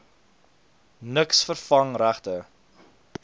niks vervang regte